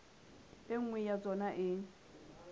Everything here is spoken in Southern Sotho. e nngwe ya tsona e